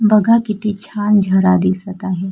बघा किती छान झरा दिसत आहे.